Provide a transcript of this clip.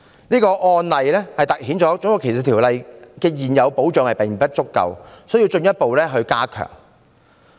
這個案例凸顯《種族歧視條例》的現有保障並不足夠，需要進一步加強。